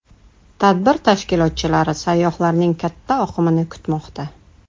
Tadbir tashkilotchilari sayyohlarning katta oqimini kutmoqda.